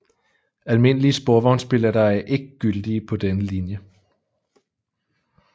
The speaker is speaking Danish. Almindelige sporvognsbilletter er ikke gyldige på denne linje